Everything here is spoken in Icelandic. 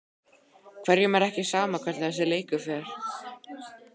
Hverjum er ekki sama hvernig þessi leikur fer?